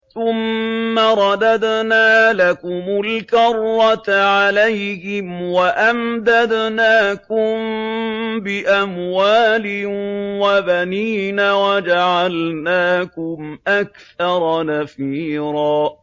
ثُمَّ رَدَدْنَا لَكُمُ الْكَرَّةَ عَلَيْهِمْ وَأَمْدَدْنَاكُم بِأَمْوَالٍ وَبَنِينَ وَجَعَلْنَاكُمْ أَكْثَرَ نَفِيرًا